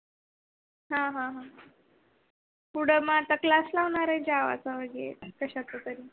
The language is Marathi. आह आह पुढ मग क्लास लावणार का आता मंगे